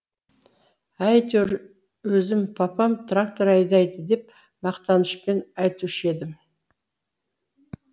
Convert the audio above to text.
әйтеуір өзім папам трактор айдайды деп мақтанышпен айтушы едім